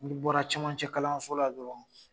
Ni bɔra camancɛ kalanso la dɔrɔn